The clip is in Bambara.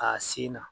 A sen na